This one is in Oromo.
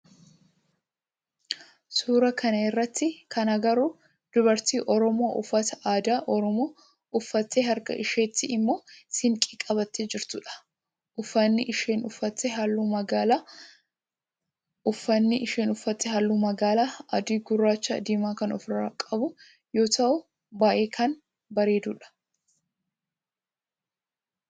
Suuraa kana irratti kan agarru dubarti oromoo uffata aadaa oromoo uffattee harka isheetti immoo siinqee qabattee jirtudha. Ufanni isheen uffatte halluu magaala, adii gurraacha, diimaa kan of irraa qabu yoo ta'u baayyee kan bareedudha.